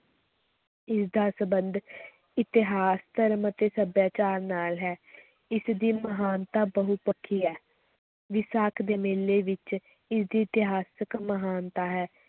ਇਸ ਦਾ ਸਬੰਧ ਇਤਿਹਾਸ, ਧਰਮ ਅਤੇ ਸੱਭਿਆਚਾਰ ਨਾਲ ਹੈ ਇਸ ਦੀ ਮਹਾਨਤਾ ਬਹੁਪੱਖੀ ਹੈ, ਵਿਸਾਖ ਦੇ ਮੇਲੇ ਵਿੱਚ ਇਸਦੀ ਇਤਿਹਾਸਕ ਮਹਾਨਤਾ ਹੈ।